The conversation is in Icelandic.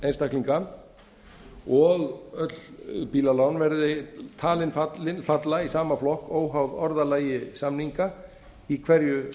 einstaklinga og öll bílalán verði talin falla í sama flokk óháð orðalagi samninga í hverju